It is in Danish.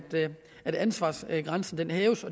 at ansvarsgrænsen hæves